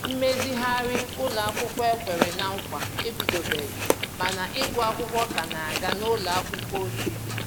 Mmezighari ụlọ akwụkwọ e kwèrè na nkwa ebidobeghi ma na ịgụ akwụkwọ ka na aga n'ụlọ akwụkwọ ochie.